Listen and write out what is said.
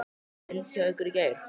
Rigndi hjá ykkur í gær?